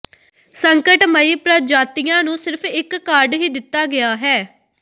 ਸੰਕਟਮਈ ਪ੍ਰਜਾਤੀਆਂ ਨੂੰ ਸਿਰਫ ਇਕ ਕਾਰਡ ਹੀ ਦਿੱਤਾ ਗਿਆ ਹੈ